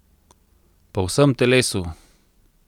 Po vsem telesu!